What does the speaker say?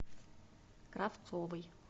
кравцовой